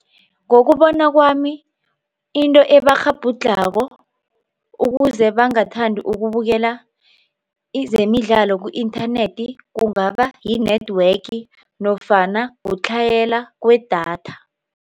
Ngokubona kwami into ebakghabhudlhako ukuze bangathandi ukubukela izemidlalo ku-inthanethi kungaba yi-network nofana kutlhayela kwedatha.